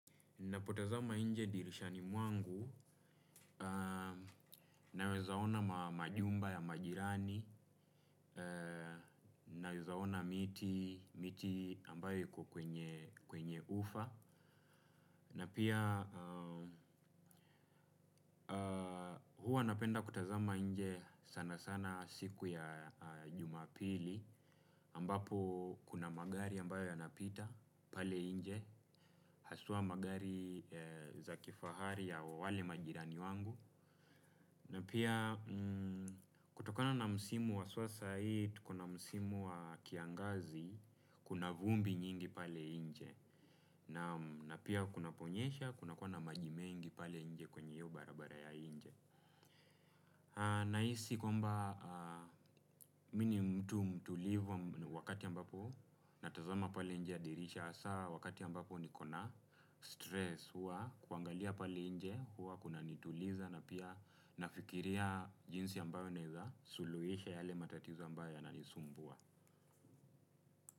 Napotazama nje dirishani mwangu, nawezaona majumba ya majirani, nawezaona miti ambayo yuko kwenye ufa. Na pia huwa napenda kutazama nje sana sana siku ya jumapili, ambapo kuna magari ambayo yanapita pale nje, hasua magari za kifahari ya wale majirani wangu. Na pia kutokona na msimu wa haswa sai, kuna msimu wa kiangazi, kuna vumbi nyingi pale nje. Na pia kuna ponyesha, kunakua na maji mengi pale nje kwenye hio barabara ya nje. Na hisi kwamba mini mtu mtulivu wakati ambapo, natazama pale nje ya dirisha. Hasa wakati ambapo nikona stress huwa kuangalia pale nje huwa kuna nituliza na pia nafikiria jinsi ambavyo naeza suluhisha yale matatiza ambayo yananisumbua.